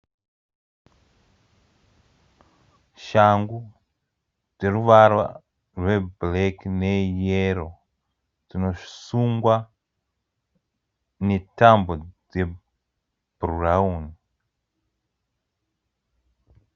Shangu dzeruvara rwe bhureki ne yero dzinosungwa ne tambo dze bhurauni.